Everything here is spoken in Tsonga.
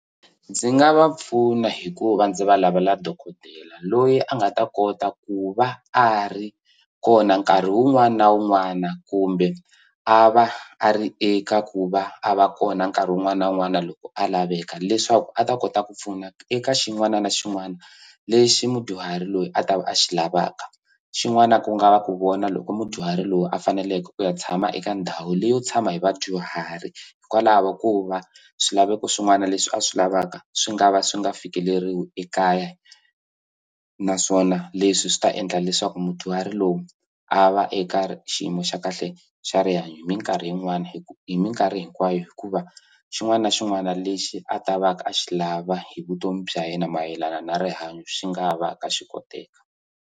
Ndzi nga va pfuna hikuva ndzi va lavela dokodela loyi a nga ta kota ku va a ri kona nkarhi wun'wana wun'wana kumbe a va a ri eka ku va a va kona nkarhi wun'wana wun'wana loko a laveka leswaku a ta kota ku pfuna eka xin'wana na xin'wana lexi mudyuhari loyi a ta a xi lavaka xin'wana ku nga va ku vona loko mudyuhari lowu a faneleke ku ya tshama eka ndhawu leyi yo tshama hi vadyuhari hikwalaho ko va swilaveko swin'wana leswi a swi lavaka swi nga va swi nga fikeleriwi ekaya naswona leswi swi ta endla leswaku mudyuhari lowu a va eka xiyimo xa kahle xa rihanyo hi minkarhi yin'wani hi minkarhi hinkwayo hikuva xin'wana na xin'wana lexi a ta va ka a xi lava hi vutomi bya yena mayelana na rihanyo xi nga va ka xi koteka.